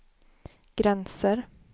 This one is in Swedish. gränser